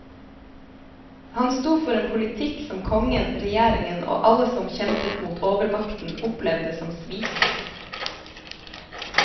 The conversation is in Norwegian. Han sto for en politikk som kongen, regjeringen og alle som kjempet mot overmakten opplevde som svik.